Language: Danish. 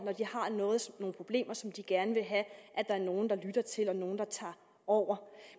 når problemer som de gerne vil have der er nogle der lytter til er nogle der tager over